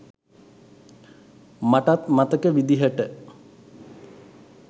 මටත් මතක විදිහට.